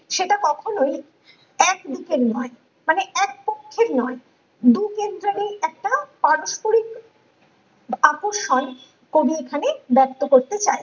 সেটা কখনোই এক দিকের নয় মানে এক পক্ষের নয় দুকেন্দ্রবি একটা পারস্পরিক আকর্ষণ কবি এখানে ব্যাক্ত করতে চান